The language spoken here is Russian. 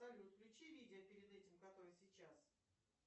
салют включи видео перед этим которое сейчас